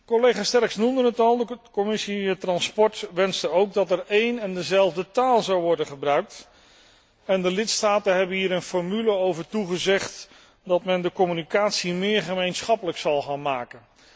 Collega Sterckx noemde het al, de Commissie vervoer wenste ook dat er een en dezelfde taal zou worden gebruikt en de lidstaten hebben hier een formule over toegezegd dat men de communicatie meer gemeenschappelijk zal gaan maken.